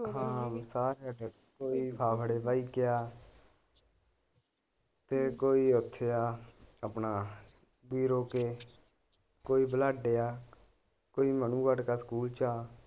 ਹਾਂ ਸਾਰੇ ਅੱਡ ਅੱਡ ਫਿਰ ਕੋਈ ਓਥੇ ਆ ਆਪਣਾ ਕੇ ਕੋਈ ਬਲਾਡੇ ਆ ਕੋਈ ਸਕੂਲ ਚ ਆ।